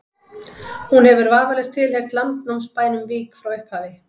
hún hefur vafalaust tilheyrt landnámsbænum vík frá upphafi